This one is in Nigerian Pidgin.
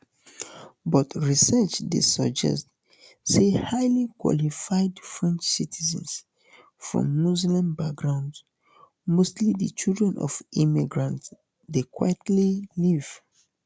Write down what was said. but research dey suggest say highly qualified french citizens from muslim backgrounds mostly di children of immigrants dey quietly leave